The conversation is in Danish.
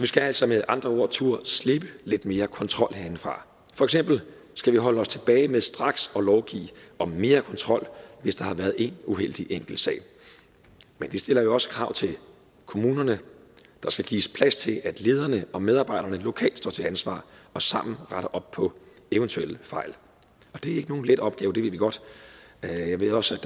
skal altså med andre ord turde slippe lidt mere kontrol herindefra for eksempel skal vi holde os tilbage med straks at lovgive om mere kontrol hvis der har været én uheldig enkeltsag men vi stiller jo også krav til kommunerne der skal gives plads til at lederne og medarbejderne lokalt står til ansvar og sammen retter op på eventuelle fejl og det er ikke nogen let opgave det ved vi godt jeg ved også